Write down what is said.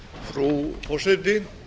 frú forseti